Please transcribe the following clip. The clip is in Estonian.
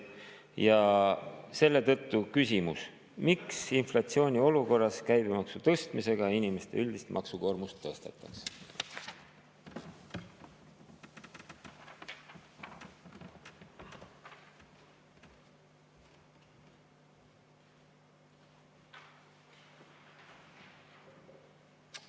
Ja selle tõttu küsimus: miks inflatsiooniolukorras käibemaksu tõstmisega inimeste üldist maksukoormust tõstetakse?